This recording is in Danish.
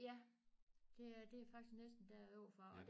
Ja det er det er faktisk næsten dér overfor